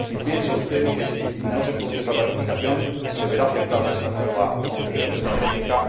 ¿Piensa usted que, si no se produce esa ratificación, se verá afectada esta nueva concepción estratégica?